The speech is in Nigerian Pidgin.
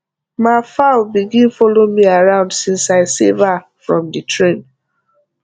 ma fowl begin follow me around since i save her from the rain